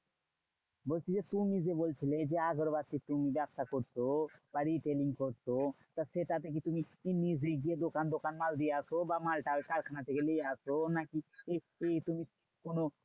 বলছি যে তুমি যে বলছিলে যে আগরবাতির তুমি ব্যবসা করছো? বা retailing করছো? তা সেটা তে কি তুমি নিজে গিয়ে দোকান দোকান মাল দিয়ে আসো? বা মাল টাল কারখানা থেকে নিয়ে আসো? নাকি এই এই তুমি কোনো